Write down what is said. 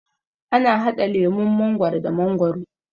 ana hada lemun mangwaro da mangwaro